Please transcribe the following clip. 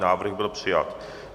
Návrh byl přijat.